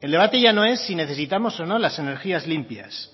el debate ya no es si necesitamos o no las energías limpias